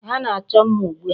Ha na-achọ mma ugbu a.